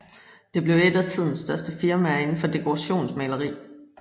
Det blev et af tidens største firmaer inden for dekorationsmaleri